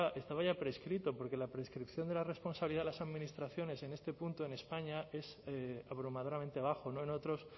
estaba prescrito porque la prescripción de la responsabilidad de las administraciones en este punto en españa es abrumadoramente bajo no en otros